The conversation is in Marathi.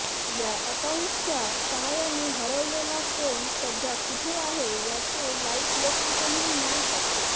या अकाउंटच्या सहाय्याने हरवलेला फोन सध्या कुठे आहे याचे लाइव्ह लोकेशनह मिळू शकते